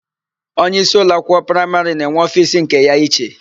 Onyeísí ụlọakwụkwọ praịmarị na-enwe ofiisi nke ya iche.